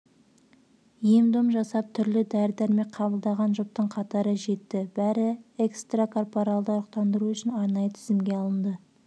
ем-дом жасап түрлі дәрі-дәрмек қабылдаған жұптың қатары жетті бәрі экстракорпоралды ұрықтандыру үшін арнайы тізімге алынды